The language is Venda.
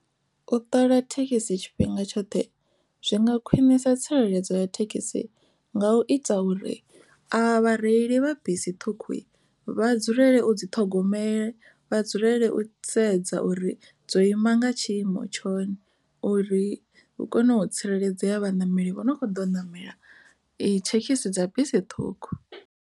U ṱola thekhisi tshifhinga tshoṱhe zwi nga khwinisa tsireledzo ya thekhisi nga u ita uri avha vhareili vha bisi ṱhukhu vha dzulele u dzi ṱhogomela vha dzulele u sedza uri dzo ima nga tshiimo tsho uri hu kone u tsireledzea vhaṋameli vho no kho ḓo namela thekhisi dza bisi ṱhukhu.